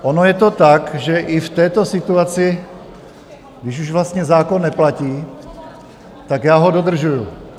Ono je to tak, že i v této situaci, když už vlastně zákon neplatí, tak já ho dodržuji.